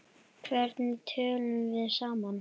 Hvernig tölum við saman?